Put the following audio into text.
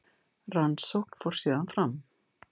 Rannsókn fór síðan fram.